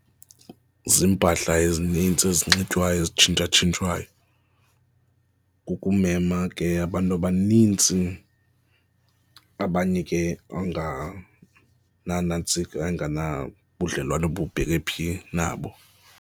Ziimpahla ezinintsi ezinxitywayo ezitshintshatshintshwayo, kukumema ke abantu abanintsi abanye ke angananantsika, anganabudlelwane obubheke phi nabo.